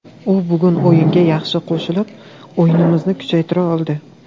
U bugun o‘yinga yaxshi qo‘shilib, o‘yinimizni kuchaytira oldi.